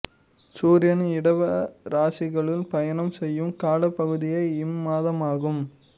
சூரியன் இடப இராசிக்குள் பயணம் செய்யும் காலப் பகுதியே இம் மாதம் ஆகும்